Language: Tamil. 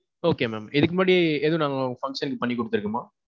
Okay mam இதுக்கு முன்னாடி ஏதும் நம்ம function பண்ணி குடுத்துருக்கோமா?